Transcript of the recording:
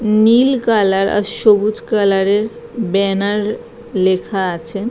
নীল colour আর সবুজ কালারের ব্যানার লেখা আছে।